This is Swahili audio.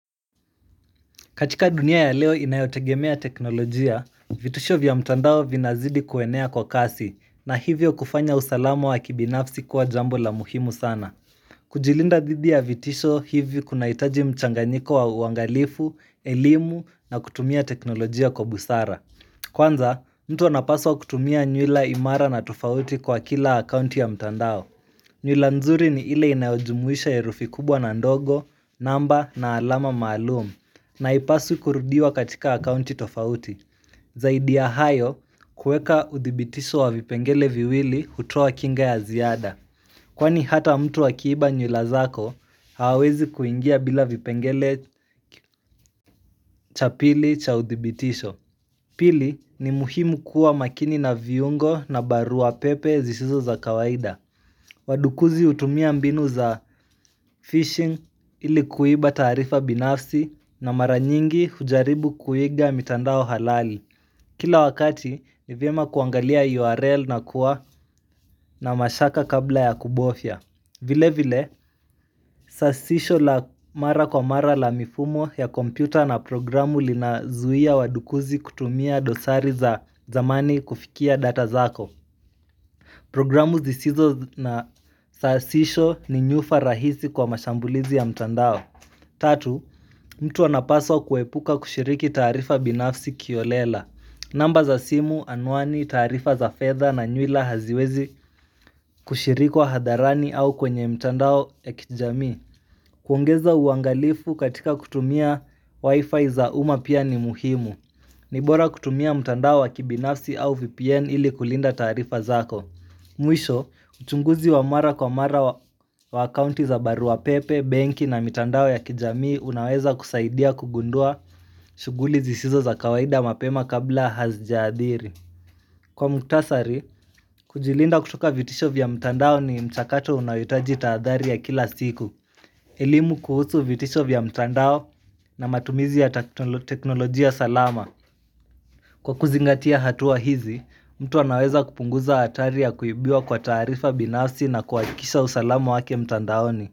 Katika dunia ya leo inayotegemea teknolojia, vitisho vya mtandao vinazidi kuenea kwa kasi na hivyo kufanya usalama wa kibinafsi kuwa jambo la muhimu sana. Kujilinda didhi ya vitisho hivyo kuna hitaji mchanganyiko wa uangalifu, elimu na kutumia teknolojia kwa busara. Kwanza, mtu wanapaswa kutumia nywila imara na tufauti kwa kila akaunti ya mtandao. Nywila nzuri ni ile inajumwisha ya rufi kubwa na ndogo, namba na alama maalumu, na ipaswi kurudiwa katika akaunti tofauti. Zaidi ya hayo, kueka udhibitisho wa vipengele viwili hutua wa kinga ya ziada. Kwani hata mtu wa kiiba nywila zako, hawezi kuingia bila vipengele cha pili cha udhibitisho. Pili ni muhimu kuwa makini na viungo na barua pepe zisizo za kawaida. Wadukuzi hutumia mbinu za fishing ilikuiba taarifa binafsi na mara nyingi hujaribu kuiga mitandao halali Kila wakati nivyema kuangalia URL na kuwa na mashaka kabla ya kubofya vile vile, sasisho la mara kwa mara la mifumo ya kompyuta na programu lina zuia wadukuzi kutumia dosari za zamani kufikia data zako Programu zisizo na sasisho ni nyufa rahisi kwa mashambulizi ya mtandao Tatu, mtu wanapaswa kuepuka kushiriki tarifa binafsi kiolela namba za simu anuani tarifa za fedha na nyula haziwezi kushirikuwa hadharani au kwenye mtandao ekijami kuongeza uangalifu katika kutumia wifi za uma pia ni muhimu Nibora kutumia mtandao wa kibinafsi au VPN ili kulinda tarifa zako Mwisho, uchunguzi wa mara kwa mara wa akaunti za baruapepe, benki na mitandao ya kijamii unaweza kusaidia kugundua shughuli zisizo za kawaida mapema kabla hazijaadhiri Kwa mtasari, kujilinda kutoka vitisho vya mitandao ni mchakato unayotaji taadhari ya kila siku elimu kuhusu vitisho vya mitandao na matumizi ya teknolojia salama Kwa kuzingatia hatua hizi, mtu anaweza kupunguza hatari ya kuibiuwa kwa taarifa binasi na kuakisha usalamu wake mtandaoni.